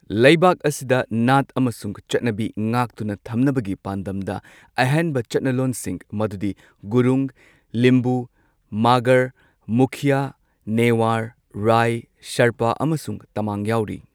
ꯂꯩꯕꯥꯛ ꯑꯁꯤꯗ ꯅꯥꯠ ꯑꯃꯁꯨꯡ ꯆꯠꯅꯕꯤ ꯉꯥꯛꯇꯨꯅ ꯊꯝꯅꯕꯒꯤ ꯄꯥꯟꯗꯝꯗ ꯑꯍꯦꯟꯕ ꯆꯠꯅꯂꯣꯟꯁꯤꯡ ꯃꯗꯨꯗꯤ ꯒꯨꯔꯨꯡ, ꯂꯤꯝꯕꯨ, ꯃꯒꯔ, ꯃꯨꯈꯤꯌꯥ, ꯅꯦꯋꯥꯔ, ꯔꯥꯏ, ꯁꯦꯔꯄꯥ ꯑꯃꯁꯨꯡ ꯇꯃꯥꯡ ꯌꯥꯎꯔꯤ꯫